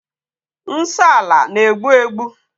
Nsọ ala na-egbu egbu.